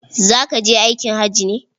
Za ka je aikin haji ne?